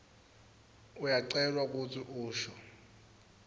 uyacelwa kutsi usho